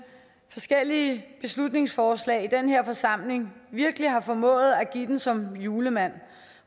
forskellige beslutningsforslag i den her forsamling virkelig har formået at give den som julemand